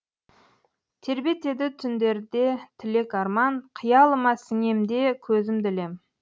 тербетеді түндерде тілек арман қиялыма сіңем де көзімді ілем